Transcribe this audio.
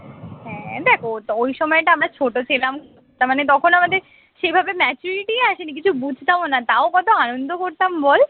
হ্যাঁ দেখ ওটা ওই সময়টা আমরা ছোট ছিলাম তার মানে তখন আমাদের সেভাবে maturity ই আসেনি কিছু বুঝতামও না তাও কত আনন্দ করতাম বল